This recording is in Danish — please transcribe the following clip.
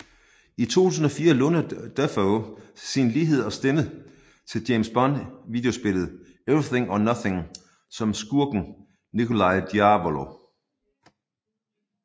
I 2004 lånte Dafoe sin lighed og stemme til James Bond videospillet Everything or Nothing som skurken Nikolai Diavolo